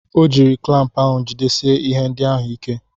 O ji klampụ ahụ jidesie ihe ndị ahụ ike.